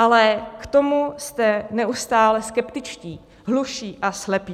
Ale k tomu jste neustále skeptičtí, hluší a slepí.